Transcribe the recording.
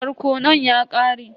Barkonon ya ƙare.